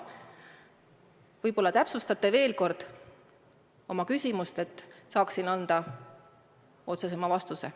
Võib-olla täpsustate veel kord oma küsimust, et saaksin anda otsesema vastuse.